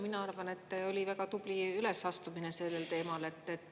Mina arvan, et oli väga tubli ülesastumine sellel teemal.